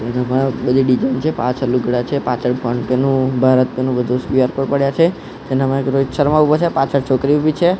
બધી ડિઝાઇન છે પાંચ લુગડા છે પાછળ ફોનપે નુ ભારતપે નુ બધુ ક્યૂ_આર કોડ પડ્યા છે તેનામાં એક રોહિત શર્મા ઊભો છે પાછળ છોકરી ઊભી છે.